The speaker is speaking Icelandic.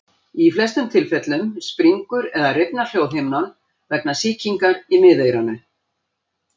Í flestum tilfellum springur eða rifnar hljóðhimnan vegna sýkingar í miðeyranu.